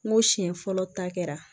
N ko siɲɛ fɔlɔ ta kɛra